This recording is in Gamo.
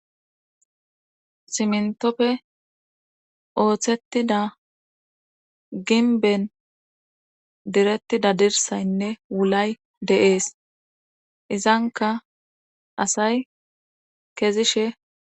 simntoppe ooththettida ginben direttida dirsaynne wulay deees izanka asay kezishe